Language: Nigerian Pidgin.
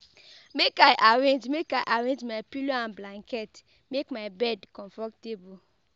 Make I arrange Make I arrange my pillow and blanket, make my bed comfortable